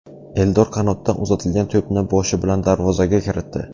Eldor qanotdan uzatilgan to‘pni boshi bilan darvozaga kiritdi.